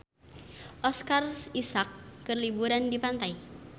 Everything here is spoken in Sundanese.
Oscar Isaac keur liburan di pantai